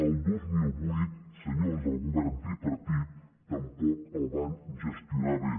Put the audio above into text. el dos mil vuit senyors del govern tripartit tampoc el van gestionar bé